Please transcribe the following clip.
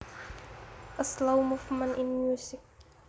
A slow movement in music